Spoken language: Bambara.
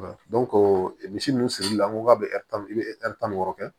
misi ninnu sirili la n ko k'a bɛ i bɛ tan ni wɔɔrɔ kɛ